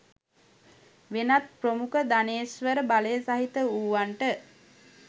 වෙනත් ප්‍රමුඛ ධනේශ්වර බලය සහිත වූවන්ට